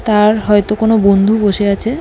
তার হয়তো কোন বন্ধু বসে আছে।